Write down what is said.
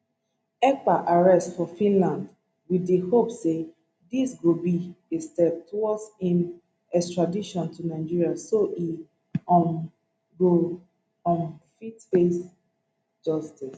ekpa arrest for finland wit di hope say dis go be a step towards im extradition to nigeria so e um go um fit face justice